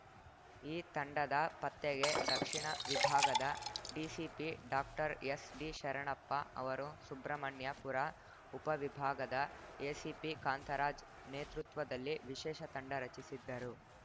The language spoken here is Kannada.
ಈ ತಂಡದ ಪತ್ತೆಗೆ ದಕ್ಷಿಣ ವಿಭಾಗದ ಡಿಸಿಪಿ ಡಾಕ್ಟರ್ಎಸ್‌ಡಿಶರಣಪ್ಪ ಅವರು ಸುಬ್ರಹ್ಮಣ್ಯಪುರ ಉಪ ವಿಭಾಗದ ಎಸಿಪಿ ಕಾಂತರಾಜ್‌ ನೇತೃತ್ವದಲ್ಲಿ ವಿಶೇಷ ತಂಡ ರಚಿಸಿದ್ದರು